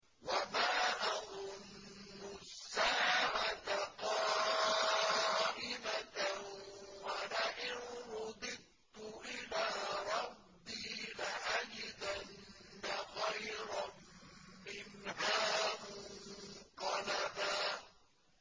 وَمَا أَظُنُّ السَّاعَةَ قَائِمَةً وَلَئِن رُّدِدتُّ إِلَىٰ رَبِّي لَأَجِدَنَّ خَيْرًا مِّنْهَا مُنقَلَبًا